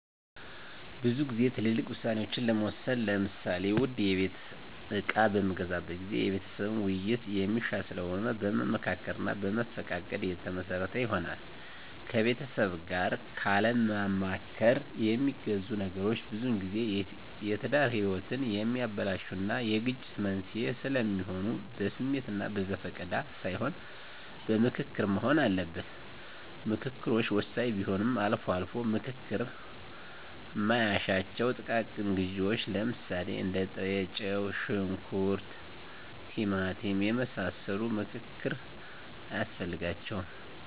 ብዙ ግዜ ትልልቅ ውሳኔ ለመወሰን ለምሳሌ ውድ የቤት እቃ በምገዛበት ጊዜ የቤተሰብን ዉይይት የሚሻ ስለሆነ በመመካከር እና በመፈቃቀድ የተመሰረተ ይሆናል። ከቤተሰብ ጋር ካለማማከር የሚገዙ ነገሮች ብዙጊዜ የትዳር ህይወትን የሚያበላሹ እና የግጭት መንስዔ ስለሚሆኑ በስሜት እና በዘፈቀደ ሳይሆን በምክክር መሆን አለበት። ምከክሮች ወሳኝ ቢሆንም አልፎ አልፎ ምክክር ማይሻቸው ጥቃቅን ግዢዎች ለምሳሌ እንደ ጥሬጨው; ሽንኩርት; ቲማቲም የመሳሰሉ ምክክር አያስፈልጋቸውም።